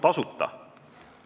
Tasuta?